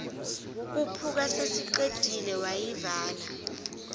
khuphuka sesiqedile wayivala